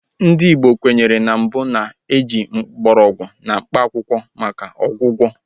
Ndị Igbo kwenyere mbụ na ị ji mgbọrọgwụ na mkpaakwụkwọ maka ọgwụgwọ